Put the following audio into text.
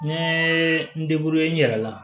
N ye n n yɛrɛ la